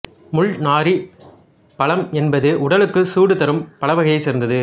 முள்நாறிப் பழம் என்பது உடலுக்குச் சூடு தரும் பழவகையைச் சேர்ந்தது